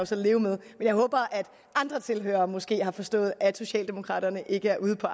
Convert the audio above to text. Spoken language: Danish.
så leve med men jeg håber at andre tilhørere måske har forstået at socialdemokraterne ikke er ude på